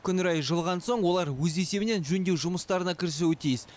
күн райы жылыған соң олар өз есебінен жөндеу жұмыстарына кірісуі тиіс